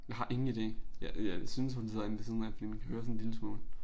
Jeg har ingen ide. Jeg jeg synes hun sidder inde ved siden af fordi man kan høre sådan en lille smule